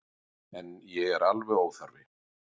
En ég er alveg óþarfi.